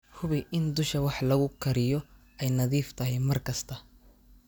Hubi in dusha wax lagu kariyo ay nadiif tahay mar kasta.